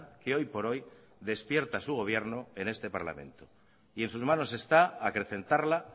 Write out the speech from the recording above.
que hoy por hoy despierta su gobierno en este parlamento y en sus manos está acrecentarla